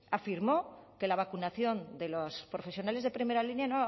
afirmó que la vacunación de los profesionales de primera línea